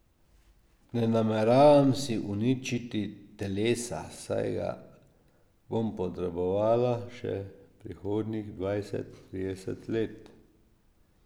Ne nameravam si uničiti telesa, saj ga bom potrebovala še prihodnjih dvajset, trideset let.